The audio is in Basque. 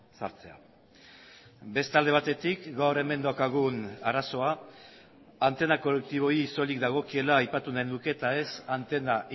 sartzea beste alde batetik gaur hemen daukagun arazoa antena kolektiboei soilik dagokiela aipatu nahi nuke eta ez antena